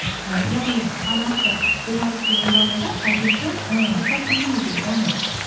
і яғни анасы болмайды деген жағдайда әкесі ііі рұқсат бермеу керек іхі